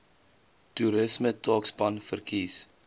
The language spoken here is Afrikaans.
toerisme taakspan verkies